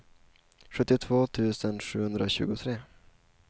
sjuttiotvå tusen sjuhundratjugotre